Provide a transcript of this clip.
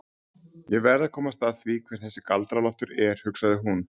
Ég verð að komast að því hver þessi Galdra-Loftur er, hugsaði hún.